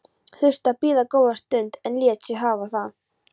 Þurfti að bíða góða stund en lét sig hafa það.